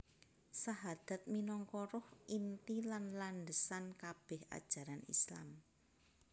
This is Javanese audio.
Sahadat minangka ruh inti lan landhesan kabèh ajaran Islam